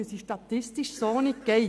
Sie ist statistisch so nicht umsetzbar.